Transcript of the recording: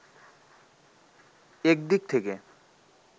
এক দিক থেকে